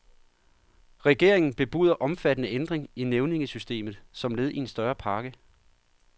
Regeringen bebuder omfattende ændring i nævningesystemet som led i større pakke.